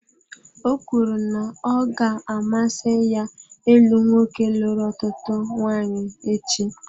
Ọ kwuru na ọ ga-amasị ya ịlụ nwoke lụrụ ọtụtụ nwanyị echi.